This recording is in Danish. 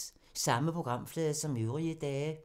Samme programflade som øvrige dage